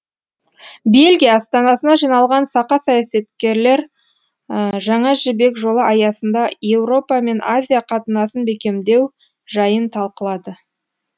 бельгия астанасына жиналған сақа саясаткерлер жаңа жібек жолы аясында еуропа мен азия қатынасын бекемдеу жайын талқылады